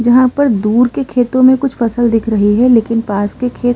जहाँ पर दूर की खेतो में कुछ फसल दिख रहे है लेकिन पास के खेत --